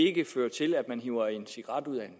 ikke fører til at man hiver en cigaret ud af en